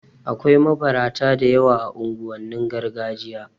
Akwai mabarata da yawa a unguwannin gargajiya